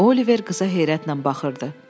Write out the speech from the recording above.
Oliver qıza heyrətlə baxırdı.